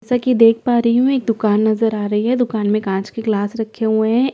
जैसा की देख पा रही हूँ एक दुकान नज़र आ रही है दुकान में कांच के ग्लास रखे हुए है एक गैस स्टोव --